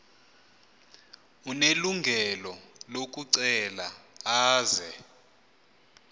unelungelo lokucela aze